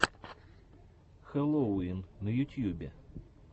хэллоувин на ютьюбе